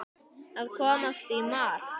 Að komast í mark